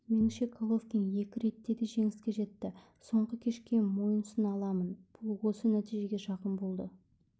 меніңше головкин екі ретте де жеңіске жетті соңғы кешке мойынсұна аламын бұл осы нәтижеге жақын болды